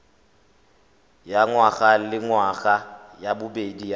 ya ngwagalengwaga ya bobedi ya